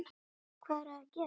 Hvað eruð þið að gera?